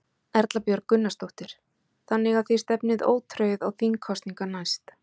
Erla Björg Gunnarsdóttir: Þannig að þið stefnið ótrauð á þingkosningar næst?